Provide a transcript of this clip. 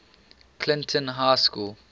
clinton high school